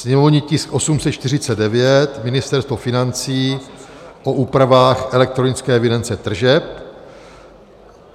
sněmovní tisk 849 - Ministerstvo financí - o úpravách elektronické evidence tržeb;